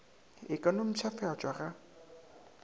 e ka no mpšhafatšwa ga